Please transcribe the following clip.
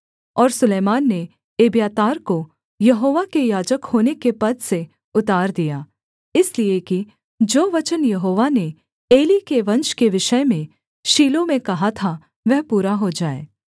और सुलैमान ने एब्यातार को यहोवा के याजक होने के पद से उतार दिया इसलिए कि जो वचन यहोवा ने एली के वंश के विषय में शीलो में कहा था वह पूरा हो जाए